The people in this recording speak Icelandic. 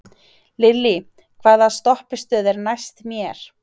Lillý, hvaða stoppistöð er næst mér?